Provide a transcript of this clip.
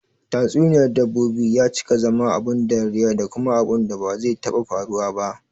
Tatsuniyar dabbobi ya cika zama abun dariya da kuma abunda ba zai taɓa faruwa ba